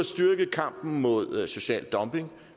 styrket kampen mod social dumping